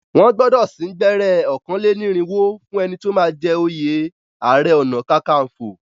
Wọ́n gbọdọ sín gbẹ́rẹ́ ọ̀kàn lẹ́ ní ìrìnwó fún ẹni tí o máa jẹ oyè ààrẹ ọ̀nà-kakanfọ̀.